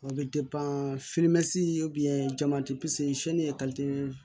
O bɛ jama